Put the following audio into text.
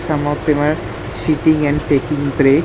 Some of them are sitting and taking break.